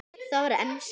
Það var enska.